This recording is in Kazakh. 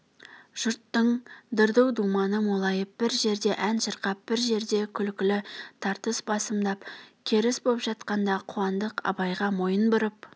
жұрттың дырду-думаны молайып бір жерде ән шырқап бір жерде күлкі-тартыс басымдап керіс боп жатқанда қуандық абайға мойын бұрып